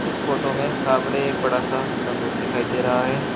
इस फोटो में सामने एक बड़ा सा संदूक दिखाई दे रहा है।